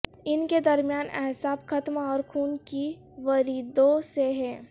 ان کے درمیان اعصاب ختم اور خون کی وریدوں سے ہیں